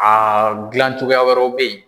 Aa dilan cogoya wɛrɛw bɛ yen.